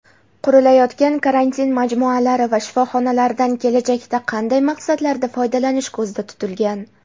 Qurilayotgan karantin majmualari va shifoxonlardan kelajakda qanday maqsadlarda foydalanish ko‘zda tutilgan?.